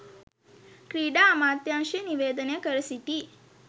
ක්‍රීඩා අමාත්‍යංශය නිවේදනය කර සිටී